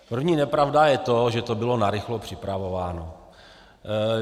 První nepravda je to, že to bylo narychlo připravováno.